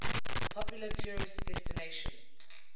popular tourist destination